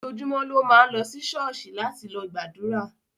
Ojojúmó ló ma n lo sí Ṣọọṣí láti lo gbàdúrà